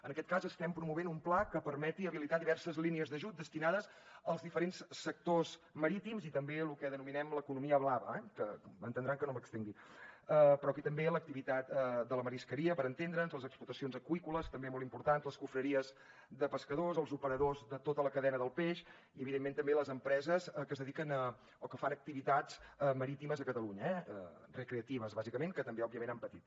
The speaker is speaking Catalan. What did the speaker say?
en aquest cas estem promovent un pla que permeti habilitar diverses línies d’ajut destinades als diferents sectors marítims i també a lo que denominem l’ economia blava que entendran que no m’estengui però aquí també l’activitat de la marisqueria per entendre’ns les explotacions aqüícoles també molt importants les confraries de pescadors els operadors de tota la cadena del peix i evidentment també les empreses que es dediquen o que fan activitats marítimes a catalunya eh recreatives bàsicament que també òbviament han patit